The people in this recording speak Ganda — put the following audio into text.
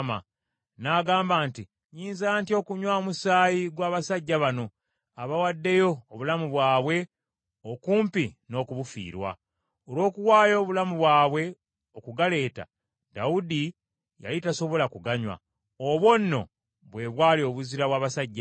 N’agamba nti, “Nnyinza ntya okunywa omusaayi gw’abasajja bano, abawaddeyo obulamu bwabwe, okumpi n’okubufiirwa?” Olw’okuwaayo obulamu bwabwe okugaleeta, Dawudi yali tasobola kuganywa. Obwo nno bwe bwali obuzira bw’abasajja abo.